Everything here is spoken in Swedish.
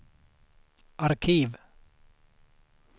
arkiv